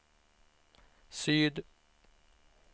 syd